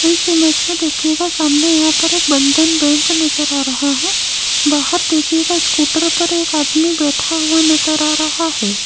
इस इमेज देखिएगा सामने यहां पर एक बंधन बैंक नजर आ रहा है बाहर देखिएगा स्कूटर पर एक आदमी बैठा हुआ नजर आ रहा है।